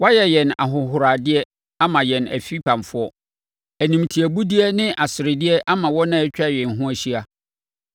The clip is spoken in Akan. Woayɛ yɛn ahohoradeɛ ama yɛn afipamfoɔ, animtiabudeɛ ne aseredeɛ ama wɔn a atwa yɛn ho ahyia.